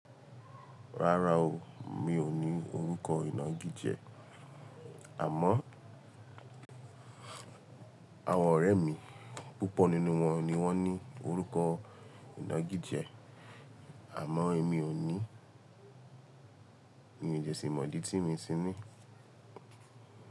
Rárá o, mi ò ní orúkọ ìna gíjé. Àmó àwọn ọ̀rẹ́ mi, púpọ̀ nínú wọn ni wọ́n ní orúkọ ìna gíjé. Àmọ́ èmi ò ní, ni ìjẹ́sí mọ̀dí tí mi sí ní.